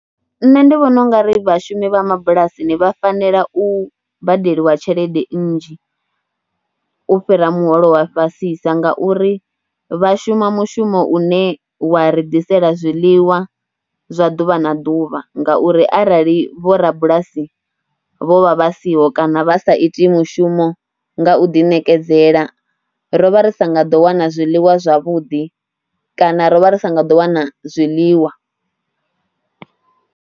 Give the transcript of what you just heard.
Nṋe ndi vhona u nga ri vhashumi vha mabulasini vha fanela u badeliwa tshelede nnzhi u fhira muholo wa fhasisa ngauri vha shuma mushumo une wa ri ḓisela zwiḽiwa zwa ḓuvha na ḓuvha, ngauri arali vhorabulasi vho vha vha siho kana vha sa iti mushumo nga u ḓiṋekedzela ro vha ri sa nga ḓo wana zwiḽiwa zwavhuḓi kana ro vha ri sa nga ḓo wana zwiḽiwa.